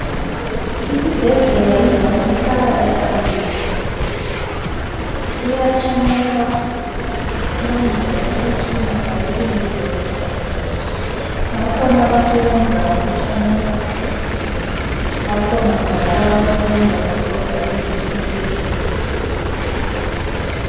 isibhedlela yindawo ehlala ihlambukelekile kuyathanyelwa ukuze kungahlali kuledoti bakhona abasebenza ukuthanyela bakhona njalo abasebenza ukudobha izibi esibhedlela.